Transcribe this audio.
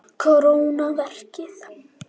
Kóróna verkið.